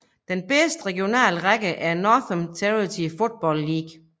Den bedste regionale række er Northern Territory Football League